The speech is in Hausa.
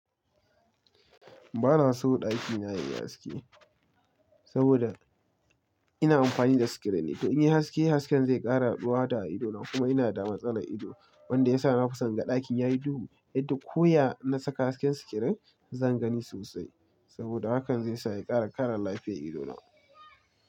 Ba na so ɗaki na ya yi haske, saboda ina amfani da sikiret ne, to in yi haske, hasken zai ƙara ɗuwa ta a ido na kuma ina da matsanin ido wanda ya sa na fi son ga ɗakin yayi duhu yadda koya na saka hasken sikiret zan gani sosai saboda hakan zai sa ya ƙara ƙara lafiya ido na.